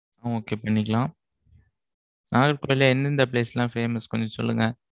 okay பண்ணிக்கலாம். நாகர்கோவில் ல எந்தெந்த place எல்லாம், famous கொஞ்சம் சொல்லுங்க?